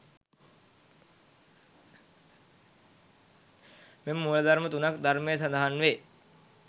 මෙම මූල ධර්ම තුනක් ධර්මයේ සඳහන් වේ.